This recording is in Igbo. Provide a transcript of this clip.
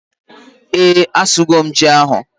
ee, a su go m ji ahu